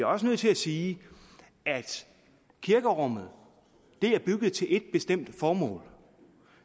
også nødt til at sige at kirkerummet er bygget til ét bestemt formål